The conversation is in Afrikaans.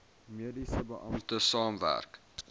mediese beampte saamwerk